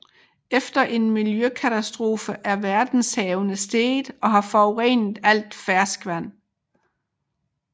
Efter en miljøkatastrofe er verdenshavene steget og har forurenet al ferskvand